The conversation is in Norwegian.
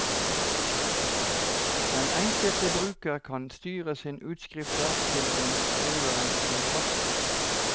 Den enkelte bruker kan styre sine utskrifter til den skriveren som passer.